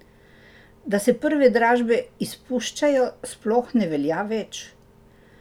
Da se prve dražbe izpuščajo, sploh ne velja več.